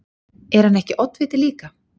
Er hann ekki oddviti líka?